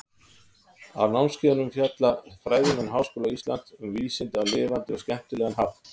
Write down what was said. Á námskeiðunum fjalla fræðimenn Háskóla Íslands um vísindi á lifandi og skemmtilegan hátt.